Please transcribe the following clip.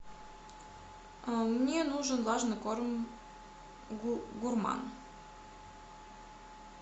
мне нужен влажный корм гурман